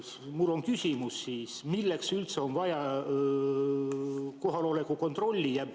Mul on küsimus: milleks üldse on vaja kohaloleku kontrolli?